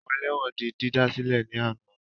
Àwọn ẹlẹ́wọ̀n di dídá sílẹ̀ ní àná